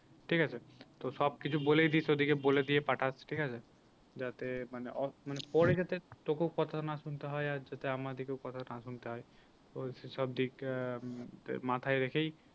ঠিক আছে তো সব কিছু বলেইদিস ওদেরকে বলে দিয়ে পাঠাস ঠিক আছে যাতে মানে মানে পরে যাতে তোকেও কথা না শুনতে হয় আর যাতে আমাদেরকেও কথা না শুনতে হয় তোর সে সব দিক আহ মাথায় রেখেই